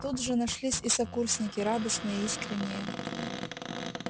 тут же нашлись и сокурсники радостные искренние